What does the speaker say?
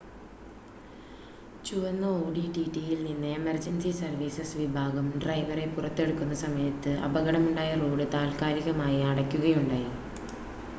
ചുവന്ന ഓഡി ടിടിയിൽ നിന്ന് എമർജൻസി സർവീസസ് വിഭാഗം ഡ്രൈവറെ പുറത്തെടുക്കുന്ന സമയത്ത് അപകടമുണ്ടായ റോഡ് താൽക്കാലികമായി അടയ്ക്കുകയുണ്ടായി